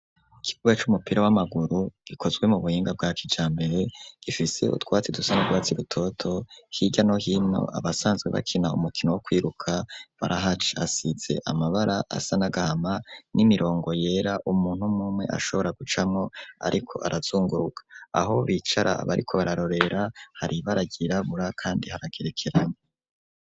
Ikibuga c'umupira w'amaguru ikozwe mu buhinga bwa kijambere gifise utwatsi dusane bwatsi rutoto hirya no hino abasanzwe bakina umukino wo kwiruka barahac asitse amabara asanagahama n'imirongo yera umuntu mumwe ashobora gucamo ariko arazunguruka aho bicara aba riko bararorera hari baragirabura kandi haragerekeranye.